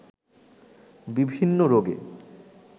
বিভিন্ন রোগে